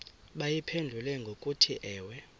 bayiphendule ngokuthi ewe